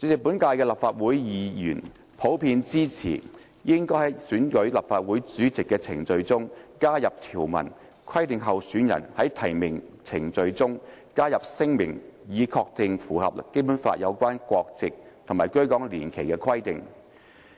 本屆立法會議員普遍支持應在選舉立法會主席的程序中加入條文，規定候選人在提名程序中加入聲明，以確定符合《基本法》有關國籍和居港年期的規定。